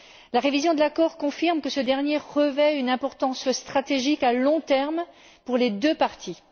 La révision de l'accord confirme que ce dernier revêt une importance stratégique à long terme pour les deux parties.